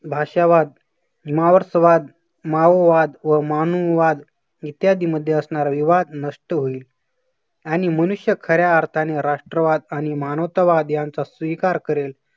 भाषावाद, मावसवाद, माओवाद व मानववाद इत्यादी मध्ये असणारा विवाद नष्ट होईल. आणि मनुष्य खऱ्या अर्थाने राष्ट्रवाद आणि मानवतावाद यांचा स्वीकार करेल.